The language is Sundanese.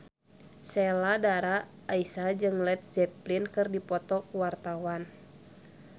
Sheila Dara Aisha jeung Led Zeppelin keur dipoto ku wartawan